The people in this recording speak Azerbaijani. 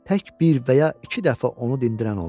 Tək bir və ya iki dəfə onu dindiyən oldu.